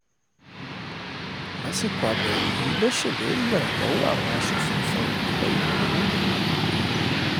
lásìkò àbẹ̀wò yìí ló ṣèlérí ìrànlọ́wọ́ àwọn asòfin fún ìpínlẹ̀ èkó